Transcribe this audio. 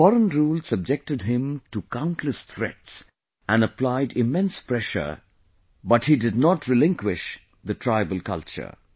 The foreign rule subjected him to countless threats and applied immense pressure, but he did not relinquish the tribal culture